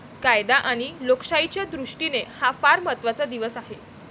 कायदा आणि लोकशाहीच्या दृष्टीने हा फार महत्वाचा दिवस आहे.